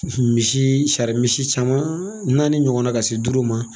Misi, sari misi caman naani ɲɔgɔn na ka se duuru ma.